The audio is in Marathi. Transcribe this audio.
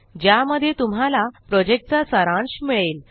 ज्यामध्ये तुम्हाला प्रॉजेक्टचा सारांश मिळेल